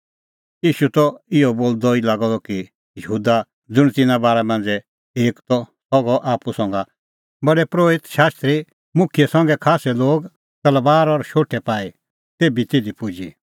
ईशू त इहअ बोलदअ ई लागअ द कि यहूदा ज़ुंण तिन्नां बारा मांझ़ै एक त सह गअ आप्पू संघा प्रधान परोहित शास्त्री मुखियै संघै खास्सै लोग तलबारा और शोठै पाई तेभी तिधी पुजी